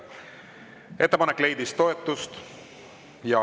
Ettepanek leidis toetust.